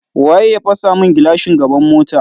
Waye ya fasa min gilashin gaban mota?